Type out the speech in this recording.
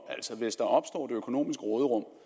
altså hvis der opstår et økonomisk råderum